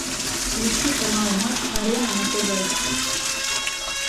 включи канал матч арена на тв